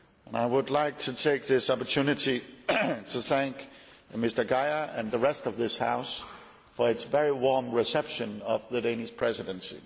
I would like to take this opportunity to thank Mr Geier and the rest of this House for its very warm reception of the Danish Presidency.